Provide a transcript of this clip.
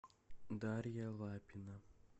дарья лапина